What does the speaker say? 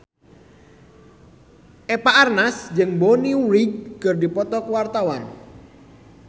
Eva Arnaz jeung Bonnie Wright keur dipoto ku wartawan